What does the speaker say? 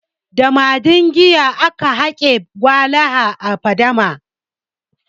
Da madingiya aka hake walaha a fadama.